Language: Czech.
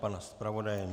Pana zpravodaje?